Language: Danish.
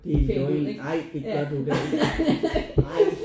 Det er løgn ej det gør du da ikke ej